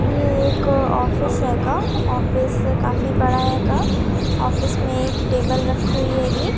ये एक ऑफिस हेगा ऑफिस काफी बड़ा हेगा ऑफिस में एक टेबल रखी हुई हेगी।